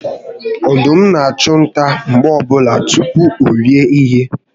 Ọdụm na achu nta mgbe ọbụla tupu orie ihe